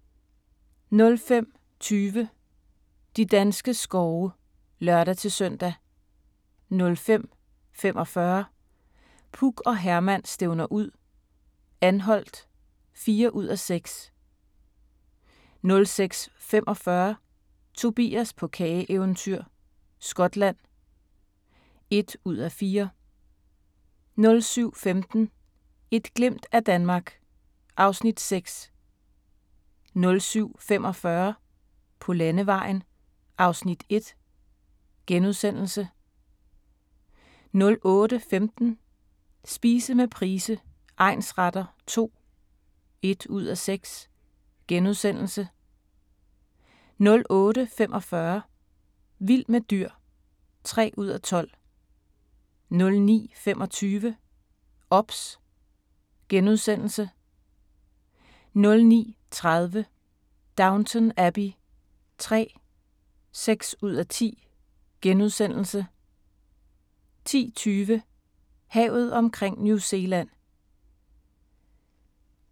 05:20: De danske skove (lør-søn) 05:45: Puk og Herman stævner ud - Anholt (4:6) 06:45: Tobias på kageeventyr – Skotland (1:4) 07:15: Et glimt af Danmark (Afs. 6) 07:45: På landevejen (Afs. 1)* 08:15: Spise med Price egnsretter II (1:6)* 08:45: Vild med dyr (3:12) 09:25: OBS * 09:30: Downton Abbey III (6:10)* 10:20: Havet omkring New Zealand